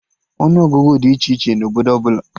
Ọnụ Ọgụgụ dị iche iche na obodo ọbụla